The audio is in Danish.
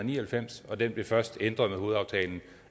ni og halvfems og den blev først ændret med hovedaftalen